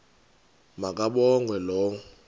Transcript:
ma kabongwe low